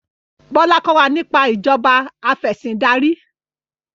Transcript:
Bola kọ wá nípa Ìṣèjọba Afẹ̀sìndarí